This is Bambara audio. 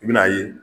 I bɛn'a ye